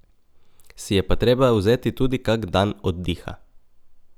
Si je pa treba vzeti tudi kak dan oddiha.